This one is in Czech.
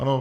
Ano.